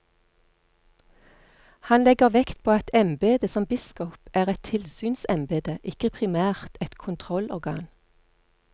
Han legger vekt på at embedet som biskop er et tilsynsembede, ikke primært et kontrollorgan.